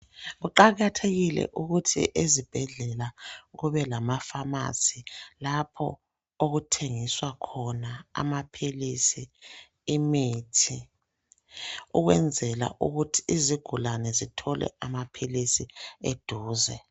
Kuqakathekile ukuthi ezibhedlela kube lamafamasi lapho okuthengiswa khona amaphilisi imithi ukwenzela ukuthi izigulane zithole amaphilisi eduze.